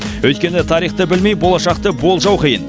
өйткені тарихты білмей болашақты болжау қиын